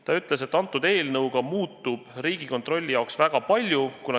Ta ütles, et selle eelnõu kohaselt muutuks Riigikontrolli jaoks väga palju.